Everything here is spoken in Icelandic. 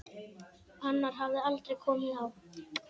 Annar hafði aldrei komið á